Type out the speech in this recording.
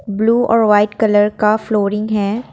Blue और white colour का flooring है।